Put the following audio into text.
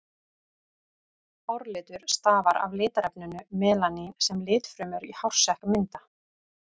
Hárlitur stafar af litarefninu melanín sem litfrumur í hársekk mynda.